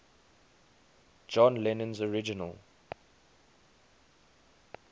john lennon's original